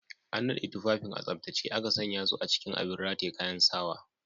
An naɗe tufafin a tsaftace aka sanya su a cikin abin rataye kayan sawa.